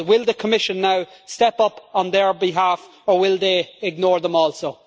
But will the Commission now step up on their behalf or will they ignore them also?